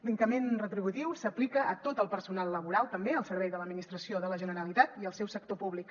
l’increment retributiu s’aplica a tot el personal laboral també al servei de l’administració de la generalitat i al seu sector públic